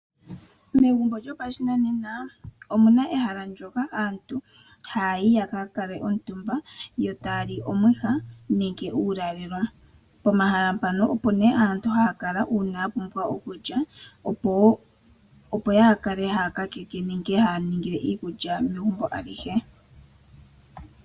Megumbo lyo pashinanena omuna ehala lyoka hayayi yaka kale omu tumba yo taali omwiha nenge uuyalelo . Pomahala mpano opo nee aantu haya kala yapumbwa okulya opo yaa kale haya kakeke nenge haningile iikulya megumbo alihe .